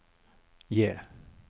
J